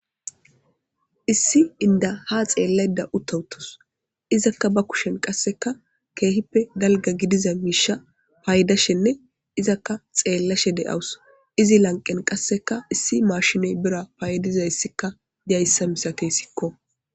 Issi inda ha xeellayda utawutos izakka ba kushen qasseka keehippe dalga gidiza miisha paaydashenne izakka xeellashe de'awus izi lanqen qasseka issi maashinoy bira paaydizayssikka diyayssa misate sikko.